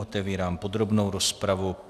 Otevírám podrobnou rozpravu.